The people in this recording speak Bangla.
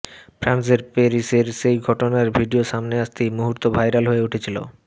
ফ্রান্সের প্যারিসের সেই ঘটনার ভিডিও সামনে আসতেই মুহূর্তে ভাইরাল হয়ে উঠেছিল